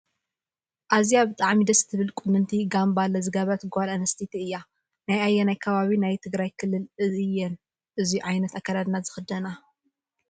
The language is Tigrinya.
ኣዝያ ብጣዕሚ ደስ ትብል ቁንንቲ ጋምባሌ ዝገበረት ጎል ኣንስትየቲ እያ። ናይ ኣየናይ ኣከባቢ ናይ ትግራይ ክልል እየን እዙይ ዓይነት ኣከዳዲና ዝክደና?